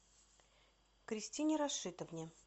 кристине рашитовне